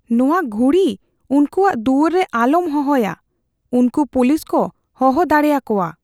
ᱱᱚᱶᱟ ᱜᱷᱩᱲᱤ ᱩᱱᱠᱩᱣᱟᱜ ᱫᱩᱣᱟᱹᱨ ᱨᱮ ᱟᱞᱚᱢ ᱦᱚᱦᱚᱭᱟ ᱾ ᱩᱱᱠᱩ ᱯᱩᱞᱤᱥ ᱠᱚ ᱦᱚᱦᱚ ᱫᱟᱲᱮ ᱟᱠᱚᱣᱟ ᱾